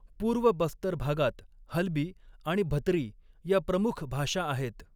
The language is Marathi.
पूर्व बस्तर भागात हल्बी आणि भतरी या प्रमुख भाषा आहेत.